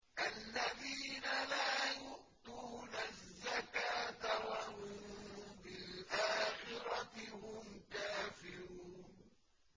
الَّذِينَ لَا يُؤْتُونَ الزَّكَاةَ وَهُم بِالْآخِرَةِ هُمْ كَافِرُونَ